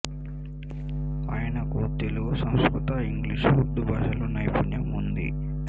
ఆయనకు తెలుగు సంస్కృతం ఇంగ్లీషు ఉర్దూ భాషల్లో నైపుణ్యం ఉంది